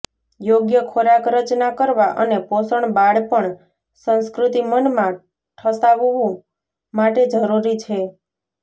યોગ્ય ખોરાક રચના કરવા અને પોષણ બાળપણ સંસ્કૃતિ મનમાં ઠસાવવું માટે જરૂરી છે